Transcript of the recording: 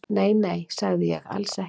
"""Nei, nei, sagði ég, alls ekki."""